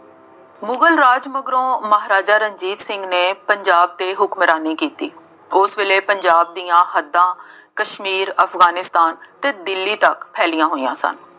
ਮੁਗਲ ਰਾਜ ਮਗਰੋਂ ਮਹਾਰਾਜਾ ਰਣਜੀਤ ਸਿੰਘ ਨੇ ਪੰਜਾਬ ਤੇ ਹੁਕਮਰਾਨੀ ਕੀਤੀ। ਉਸ ਵੇਲੇ ਪੰਜਾਬ ਦੀਆ ਹੱਦਾਂ ਕਸ਼ਮੀਰ, ਅਫਗਾਨਿਸਤਾਨ ਅਤੇ ਦਿੱਲੀ ਤੱਕ ਫੈਲੀਆਂ ਹੋਈਆਂ ਸਨ।